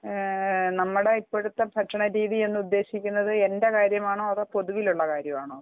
നമ്മളുടെ ഇപ്പോഴത്തെ ഈ ഭക്ഷണ രീതി എന്ന് ഉദ്ദേശിക്കുന്നത് എന്റെ കാര്യമാണോ അതോ പൊതുവിലുള്ള കാര്യമാണോ